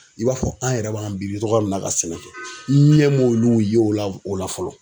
I b'a fɔ an yɛrɛ b'an biri togoya min na ka sɛnɛ kɛ ,n ɲɛ m'olu ye o la fɔlɔ